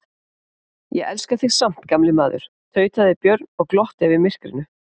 Ég elska þig samt gamli maður, tautaði Björn og glotti við myrkrinu.